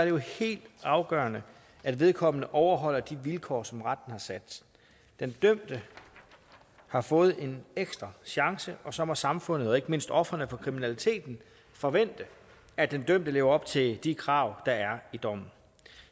jo helt afgørende at vedkommende overholder de vilkår som retten har sat den dømte har fået en ekstra chance og så må samfundet og ikke mindst ofrene for kriminaliteten forvente at den dømte lever op til de krav der er i dommen